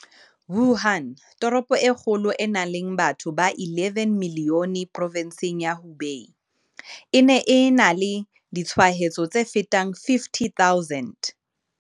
Wuhan, toropo e kgolo e nang le batho ba 11 milione provenseng ya Hubei, e ne e na le ditshwaetso tse fetang 50 000.